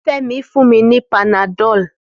Femi fún mi ni panadọ́l